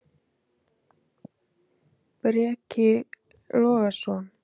Breki Logason: En hvernig var umhorfs í borginni?